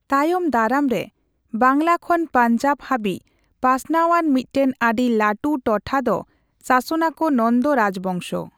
ᱛᱟᱭᱚᱢ ᱫᱟᱨᱟᱢᱨᱮ, ᱵᱟᱝᱞᱟ ᱠᱷᱚᱱ ᱯᱟᱧᱡᱟᱵᱽ ᱦᱟᱹᱵᱤᱡ ᱯᱟᱥᱱᱟᱣᱟᱱ ᱢᱤᱫᱴᱮᱱ ᱟᱹᱰᱤ ᱞᱟᱹᱴᱩ ᱴᱚᱴᱷᱟ ᱫᱚ ᱥᱟᱥᱚᱱ ᱟᱠᱚ ᱱᱚᱱᱫᱚ ᱨᱟᱡᱽᱵᱚᱝᱥᱚ ᱾